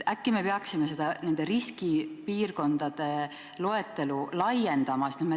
Äkki me peaksime riskipiirkondade loetelu laiendama?